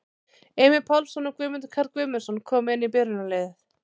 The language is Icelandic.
Emil Pálsson og Guðmundur Karl Guðmundsson koma inn í byrjunarliðið.